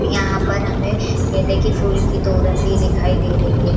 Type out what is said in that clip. यहाँ पर हमे गेंदे की फूल की दोरंगी दिखाई दे रही हैं।